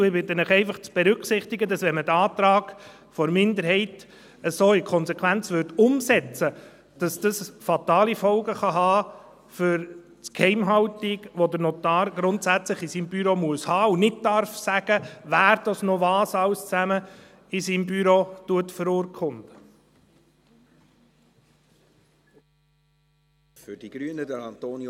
Ich bitte Sie einfach, zu berücksichtigen, dass es, wenn man diesen Antrag der Minderheit so in der Konsequenz umsetzen würde, fatale Folgen für die Geheimhaltung haben kann, die der Notar grundsätzlich in seinem Büro gewährleisten muss und nicht sagen darf, wer sonst noch was alles in seinem Büro verurkundet.